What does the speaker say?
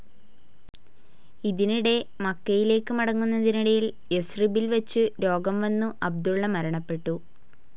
ഇതിനിടെ മക്കയിലേക്ക് മടങ്ങുന്നതിനിടയിൽ യസ്രിബിൽ വച്ചു രോഗം വന്നു അബ്ദുള്ള മരണപ്പെട്ടു.